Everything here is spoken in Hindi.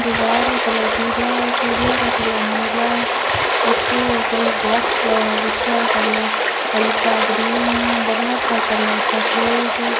दीवार का कलर पीला है कूलर का कलर नीला है उसके ऊपर एक बॉक्स पड़ा है जिसका कलर हल्का ग्रीन है बल्ब का कलर सफेद है।